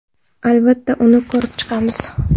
Albatta, uni ko‘rib chiqamiz.